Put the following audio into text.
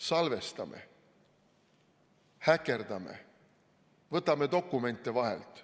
Salvestame, häkime, võtame dokumente vahelt.